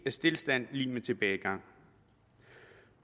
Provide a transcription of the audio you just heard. stilstand lig med tilbagegang